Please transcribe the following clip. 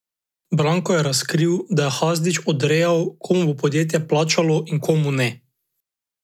Banko je razkril, da je Hadžić odrejal, komu bo podjetje plačalo in komu ne.